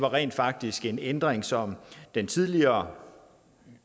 rent faktisk en ændring som den tidligere